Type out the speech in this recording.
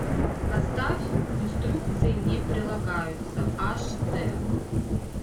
поставь инструкции не прилагаются аш д